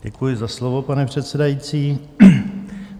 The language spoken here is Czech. Děkuji za slovo, pane předsedající.